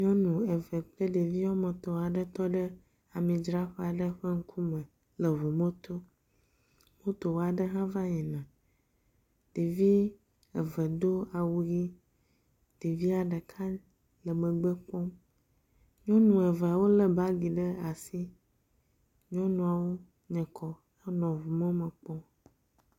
Nyɔnu kple ɖevi woame etɔ̃ aɖe tɔ ɖe amidzraƒe aɖe ƒe ŋkume le eŋumɔto. Moto aɖe hã va yina. Ɖevi eve do awu ʋi. Ɖevia ɖeka le megbe kpɔm. Nyɔnu eve wolé bagi ɖe asi. Nyɔnuawo nye kɔ henɔ ŋumɔme kpɔm.